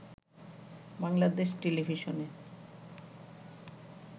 বাংলাদেশ টেলিভিশনে